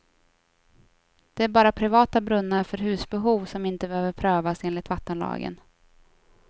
Det är bara privata brunnar för husbehov som inte behöver prövas enligt vattenlagen.